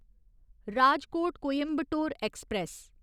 Rajkot Coimbatore express